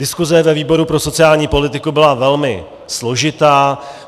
Diskuse ve výboru pro sociální politiku byla velmi složitá.